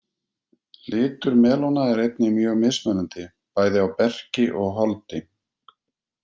Litur melóna er einnig mjög mismunandi, bæði á berki og holdi.